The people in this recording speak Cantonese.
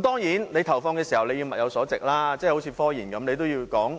當然，投放時要物有所值，正如科研一樣，也要